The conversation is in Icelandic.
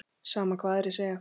Sama hvað aðrir segja.